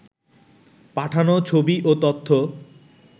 পাঠানো ছবি ও তথ্য